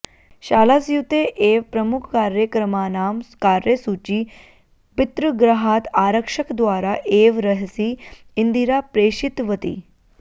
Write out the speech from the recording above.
शालास्यूते एव प्रमुखकार्यक्रमाणां कार्यसूची पितृगृहात् आरक्षकद्वारा एव रहसि इन्दिरा प्रेषितवती